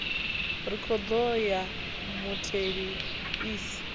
rekhodo ya mutheli i sa